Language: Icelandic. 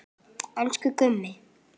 Elsku Gummi.